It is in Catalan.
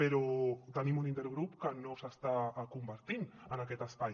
però tenim un intergrup que no s’està convertint en aquest espai